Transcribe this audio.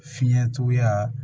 Fiɲɛtuguya